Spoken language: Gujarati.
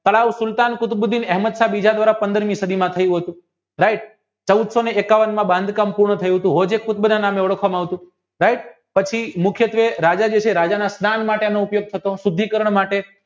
તળાવ અહેમદ બીજા દ્વારા પંદરમી સદીમાં થયું હતું ભાઈ છવ્વીસોને એકવનમાં બાંધકામ પૂરું થયું હતું હૌજે નામે ઓળખવામાં આવતું પછી રાજાના સ્નાનમાટેનો શુદ્ધિકરણ માટે